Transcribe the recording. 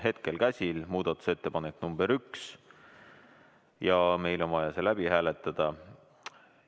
Hetkel käsil muudatusettepanek nr 1 ja meil on vaja see läbi hääletada.